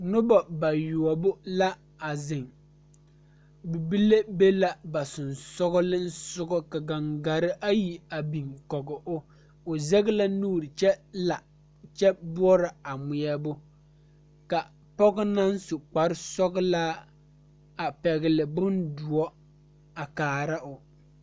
Pɔgeba ka dɔɔba banuu a zɔŋ a a kuriwiire kaŋa eɛ ziɛ kyɛ taa peɛle kaa kuriwiire mine e sɔglɔ kyɛ ka konkobile fare a kuriwiire poɔ a e doɔre.